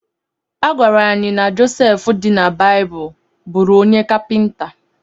A gwara anyị na Joseph dị na Baịbụl bụụrụ onye kapịnta.